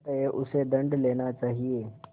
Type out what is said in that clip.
अतएव उससे दंड लेना चाहिए